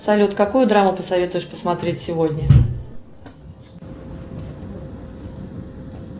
салют какую драму посоветуешь посмотреть сегодня